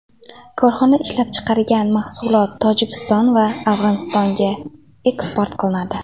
Korxona ishlab chiqargan mahsulot Tojikiston va Afg‘onistonga eksport qilinadi.